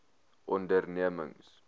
ondernemings